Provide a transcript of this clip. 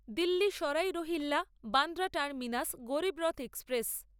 Delhi Sarai Rohilla Bandra terminus Garib Rath express